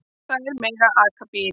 Þær mega aka bíl.